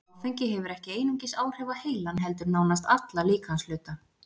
Áfengi hefur ekki einungis áhrif á heilann heldur nánast alla líkamshluta.